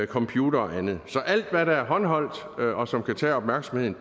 computer og andet så alt hvad der er håndholdt og som kan tage opmærksomheden